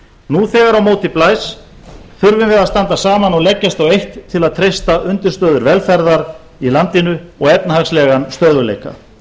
nú þegar á móti blæs þurfum við að standa saman og leggjast á eitt til að treysta undirstöður velferðar í landinu og efnahagslegan stöðugleika